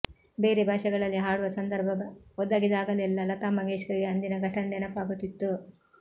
ಬೇರೆ ಭಾಷೆಗಳಲ್ಲಿ ಹಾಡುವ ಸಂದರ್ಭ ಒದಗಿದಾಗಲೆಲ್ಲ ಲತಾ ಮಂಗೇಶ್ಕರ್ಗೆ ಅಂದಿನ ಘಟನೆ ನೆನಪಾಗುತ್ತಿತ್ತು